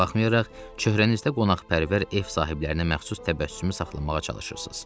Buna baxmayaraq, çöhrənizdə qonaqpərvər ev sahiblərinə məxsus təbəssümü saxlamağa çalışırsız.